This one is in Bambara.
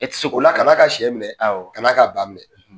E tɛ se kan'a ka sɛ minɛ kan'a ka ba minɛ.